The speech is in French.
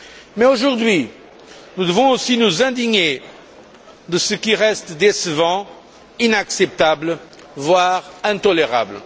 Mais, aujourd'hui, nous devons aussi nous indigner de ce qui reste décevant, inacceptable, voire intolérable.